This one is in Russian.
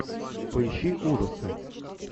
поищи ужасы